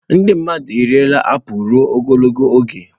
Ndị mmadụ eriela apụl ruo ogologo oge.